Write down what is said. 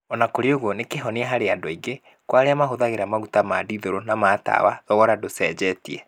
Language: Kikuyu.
O na kũrĩ ũguo, nĩ kĩhonia harĩ andu angĩ. Kwa arĩa mahũthagĩra maguta ma dithũrũ na ma tawa thogora ndũcenjetie.